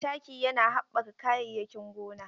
Taki yana haɓɓaka kayayyakin gona.